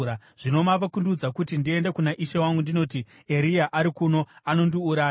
Zvino mava kundiudza kuti ndiende kuna ishe wangu ndinoti, ‘Eria ari kuno.’ Anondiuraya!”